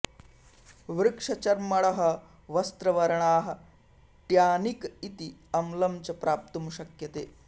वृक्षचर्मणः वस्त्रवर्णाः ट्यानिक् इति अम्लं च प्राप्तुं शक्यते